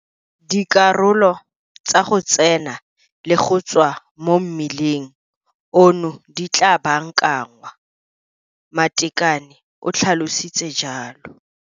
Dikarolo tsa go tsena le go tswa mo mmileng ono di tla baakanngwa, Matekane o tlhalositse jalo.